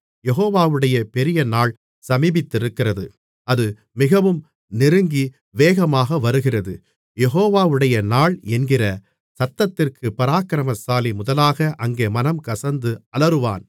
யெகோவாவுடைய பெரியநாள் சமீபித்திருக்கிறது அது மிகவும் நெருங்கி வேகமாக வருகிறது யெகோவாவுடைய நாள் என்கிற சத்தத்திற்குப் பராக்கிரமசாலி முதலாக அங்கே மனங்கசந்து அலறுவான்